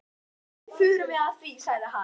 Hvernig förum við að því? sagði hann.